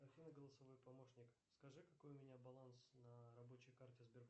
афина голосовой помощник скажи какой у меня баланс на рабочей карте сбербанка